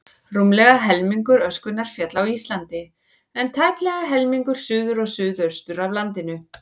Rúmlega helmingur öskunnar féll á Íslandi, en tæplega helmingur suður og suðaustur af landinu.